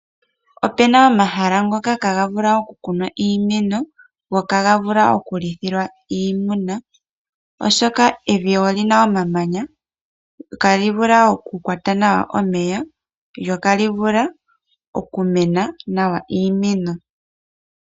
Ope na omahala ngoka ihaga vulu okukunwa iimeno go ihaga vulu okulithilwa iimuna oshoka evi olina omamanya ihali kwata nawa omeya, lyo ihali vulu okumena nawa iimeno.